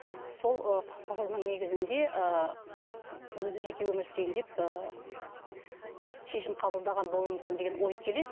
сол ы құқығының негізінде ы өзі жеке өмір сүрейін деп ы шешім қабылдаған болуы мүмкін деген ой келеді